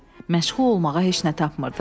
Məşğul olmağa heç nə tapmırdım.